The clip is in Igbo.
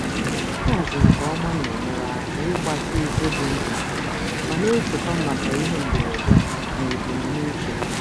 Ịhazi nke ọma na-enyere aka ịgbatị ego dị ntakịrị ma na-echekwa maka ihe mberede na mberede na ebumnuche.